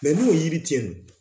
Mɛ n'o ye yiri cɛn do